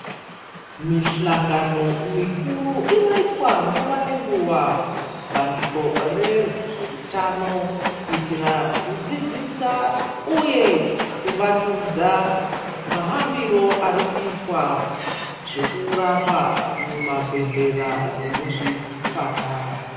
Mihlangano mikuru inoitwa nguwa ngenguwa ngebandiko rezveutano kuitira kudzidzisa uye kuvandudza mahambire ari kuitwa zvekurapa muzvibhedhlera nemuzvipatara.